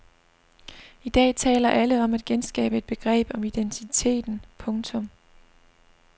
I dag taler alle om at genskabe et begreb om identiteten. punktum